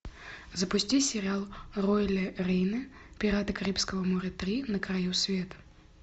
запусти сериал роэля рейна пираты карибского моря три на краю света